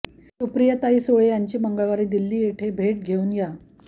सुप्रियाताई सुळे यांची मंगळवारी दिल्ली येथे भेट घेऊन आ